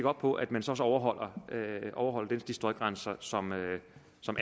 op på at man så også overholder overholder de støjgrænser som